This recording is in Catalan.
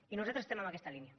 i nosaltres estem en aquesta línia